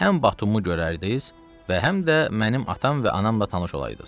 Həm Batumu görərdiz, və həm də mənim atam və anamla tanış olaydız.